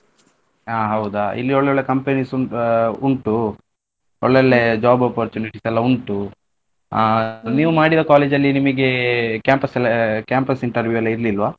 ಹಾ ಹೌದಾ ಇಲ್ಲಿ ಒಳ್ಳೊಳ್ಳೆ companies ಆ ಉಂಟು ಒಳ್ಳೊಳ್ಳೆ job opportunities ಎಲ್ಲಾ ಉಂಟು ಅಹ್ ನೀವ್ ಮಾಡಿದ college ಅಲ್ಲಿ ನಿಮಿಗೆ campus ಎಲ್ಲ ಅ campus interview ಎಲ್ಲಾ ಇರ್ಲಿಲ್ವ?